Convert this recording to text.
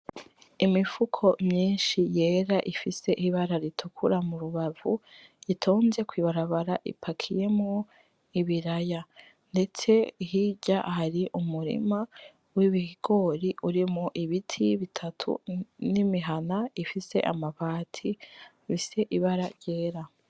Imifuko myinshi yera ifise ibara ritukura mu rubavu, itonze kw'ibarabara ipakiyemwo ibiraya, ndetse hirya hari umurima w'ibigori urimwo ibiti bitatu, n'imihana ifise amabati afise ibara ryera.